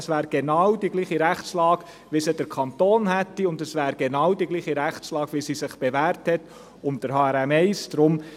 Es wäre genau die gleiche Rechtslage, wie sie der Kanton hat, und es wäre die genau gleiche Rechtslage, wie sie sich unter HRM1 bewährt hat.